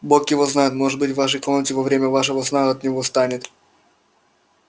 бог его знает может быть в вашей комнате во время вашего сна от него станет